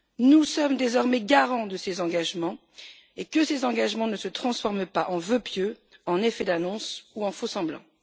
Nous sommes désormais garants de ces engagements et que ces engagements ne se transforment pas en vœux pieux, en effets d'annonce ou en faux semblants.